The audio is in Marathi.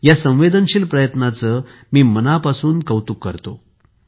या संवेदनशील प्रयत्नाचे मी मनापासून कौतुक करतो